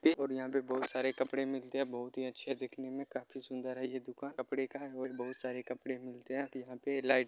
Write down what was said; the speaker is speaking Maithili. ये और यहां पे बोहोत सारे कपड़े मिलते है बोहोत ही अच्छे दिखने मे और काफी सुंदर है ये दुकान कपड़े का और यहां पे बहुत सारे कपड़े मिलते है यहां पे लाइट -----